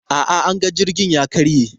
A'a, anga jirgin ya karye.